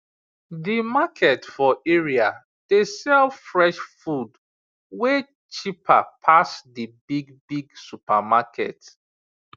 the market for area dey sell fresh food way cheaper pass the big big supermarket